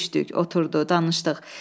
Görüşdük, oturduq, danışdıq.